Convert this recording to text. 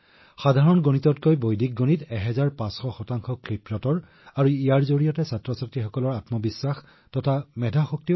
বৈদিক গণিত এই সৰল গণিততকৈ পোন্ধৰশ শতাংশ দ্ৰুত আৰু ই শিশুসকলৰ মনলৈ যথেষ্ট আত্মবিশ্বাস আনে আৰু মগজুও দ্ৰুত হয়